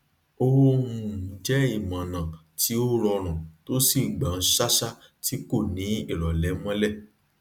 ó um jẹ imọọnà tí ó rọrùn tó sì gbọn ṣáṣá tí kò ni irọlẹ mọlè